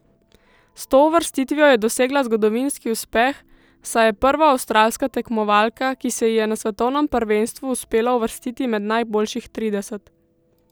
S to uvrstitvijo je dosegla zgodovinski uspeh, saj je prva avstralska tekmovalka, ki se ji je na svetovnem prvenstvu uspelo uvrstiti med najboljših trideset.